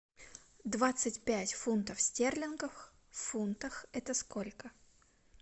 двадцать пять фунтов стерлингов в фунтах это сколько